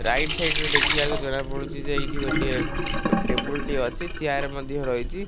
Right side ରେ ଦେଖିବାକୁ ଜଣାପଡୁଛି ଯେ ଏଠି ଗୋଟେ ଟେବୁଲ ଟିଏ ଅଛି ଚେୟାର ମଧ୍ୟ ରହିଛି।